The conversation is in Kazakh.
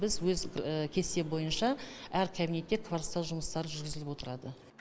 біз өз кесте бойынша әр кабинетте кварцтау жұмыстары жүргізіліп отырады